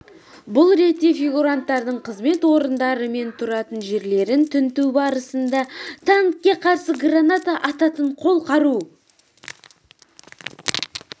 бұл ретте фигуранттардың қызмет орындары мен тұратын жерлерін тінту барысында танкке қарсы граната ататын қол қару